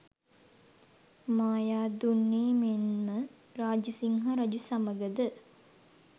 මායාදුන්නේ මෙන්ම රාජසිංහ රජු සමඟ ද